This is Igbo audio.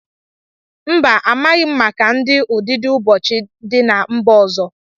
Mba, amaghị m maka ụdị ụdidiụbọọchi dị na mba ọzọ.